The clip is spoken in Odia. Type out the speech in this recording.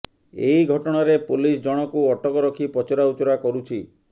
ଏହି ଘଟଣାରେ ପୋଲିସ ଜଣଙ୍କୁ ଅଟକ ରଖି ପଚରାଉଚରା କରୁଛି